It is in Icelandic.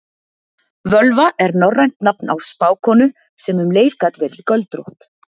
völva er norrænt nafn á spákonu sem um leið gat verið göldrótt